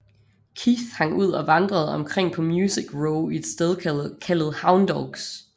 Keith hang ud og vandrede omkring på Music Row i et sted kaldet Houndogs